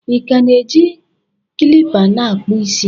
ị ka na-eji kilipa a na-akpụ isi?